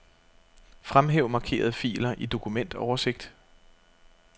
Fremhæv markerede filer i dokumentoversigt.